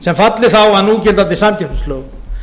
sem falli þá að núgildandi samkeppnislögum